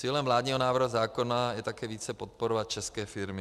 Cílem vládního návrhu zákona je také více podporovat české firmy.